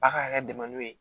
A' ka yɛrɛ dɛmɛ n'o ye